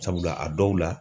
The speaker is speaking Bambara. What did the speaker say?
Sabula a dɔw la